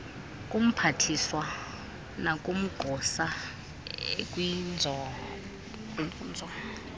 kumphathiswa nakumagosa akwinkonzo